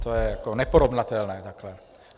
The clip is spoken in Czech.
To je jako neporovnatelné takhle.